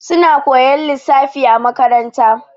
Suna koyan lissafi a makaranta.